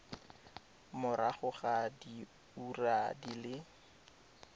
morago ga diura di le